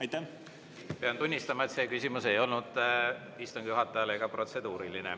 Ma pean tunnistama, et see küsimus ei olnud istungi juhatajale ega protseduuriline.